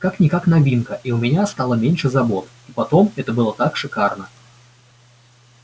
как-никак новинка и у меня стало меньше забот и потом это было так шикарно